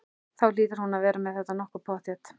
Þú hlýtur nú að vera með þetta nokkuð pottþétt?